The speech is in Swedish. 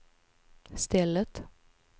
stället